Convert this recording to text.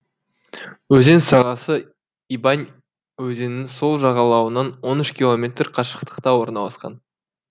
өзен сағасы ибань өзенінің сол жағалауынан он үш километр қашықтықта орналасқан